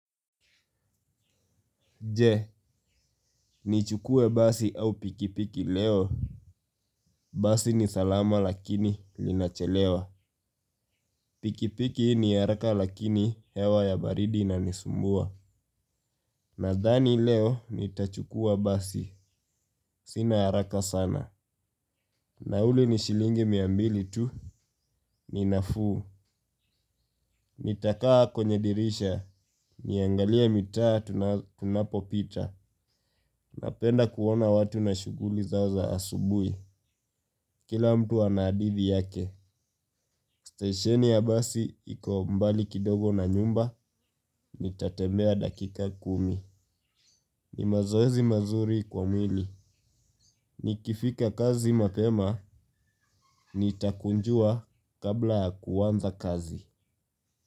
Je, nichukue basi au pikipiki leo? Basi ni salama lakini linachelewa. Pikipiki ni haraka lakini hewa ya baridi inanisumbua. Nadhani leo ni tachukua basi. Sina haraka sana. Nauli ni shilingi mia mbili tu ni nafuu. Nitakaa kwenye dirisha. Niangalea mitaa tunapopita. Napenda kuona watu na shuguli zao za asubui. Kila mtu ana adithi yake. Station ya basi iko mbali kidogo na nyumba, ni tatembea dakika kumi. Ni mazoezi mazuri kwa mwili. Nikifika kazi mapema, nitakunjua kabla ya kuanza kazi.